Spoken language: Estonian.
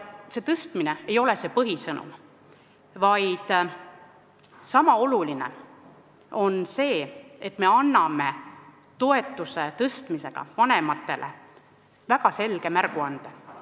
Tõstmine ei ole põhisõnum, vaid sama oluline on see, et me anname toetuse tõstmisega vanematele väga selge märguande.